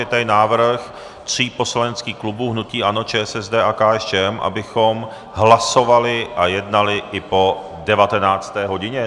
Je tady návrh tří poslaneckých klubů, hnutí ANO, ČSSD a KSČM, abychom hlasovali a jednali i po devatenácté hodině.